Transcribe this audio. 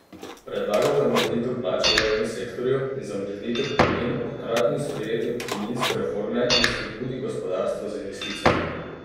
Predlaga zamrznitev plač v javnem sektorju in zamrznitev pokojnin ob hkratnem sprejetju pokojninske reforme in spodbudi gospodarstva z investicijami.